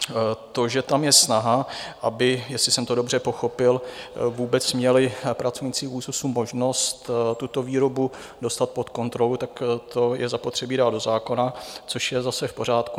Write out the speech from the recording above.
To, že tam je snaha, aby, jestli jsem to dobře pochopil, vůbec měli pracovníci ÚKZÚZ možnost tuto výrobu dostat pod kontrolu, tak to je zapotřebí dát do zákona, což je zase v pořádku.